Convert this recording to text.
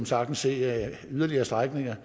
sagtens se yderligere strækninger